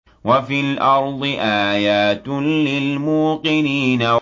وَفِي الْأَرْضِ آيَاتٌ لِّلْمُوقِنِينَ